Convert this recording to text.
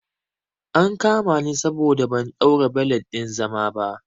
An kama ni saboda ban ɗaura belet ɗin zama ba